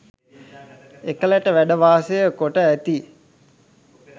එකලට වැඩ වාසය කොට ඇති